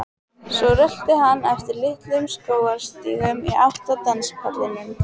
Svo rölti hann eftir litlum skógarstígum í átt að danspallinum.